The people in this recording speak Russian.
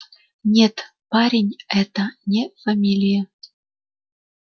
нет парень это не фамилия